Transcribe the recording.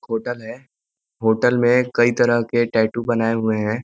Hotel है hotel में कई तरह के टैटू बनाए हुए हैं।